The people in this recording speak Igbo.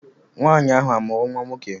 Nwaanyị ahụ amụrụ nwa nwoke?